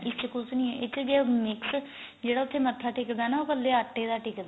ਇਸ ਚ ਕੁੱਝ ਨੀਂ ਏ ਇਸ ਚ ਜਿਹੜਾ mix ਜਿਹੜਾ ਉੱਥੇ ਮਥਾ ਟੇਕਦਾ ਨਾ ਕੱਲੇ ਆਟੇ ਦਾ ਟਿਕਦਾ